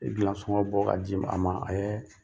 I bila sɔngɔ bɔ ka di a ma ɛɛ